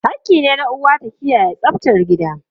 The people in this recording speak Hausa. Hakki ne na uwa ta kiyaye tsaftar gida.